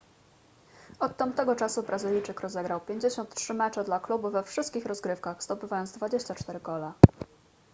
od tamtego czasu brazylijczyk rozegrał 53 mecze dla klubu we wszystkich rozgrywkach zdobywając 24 gole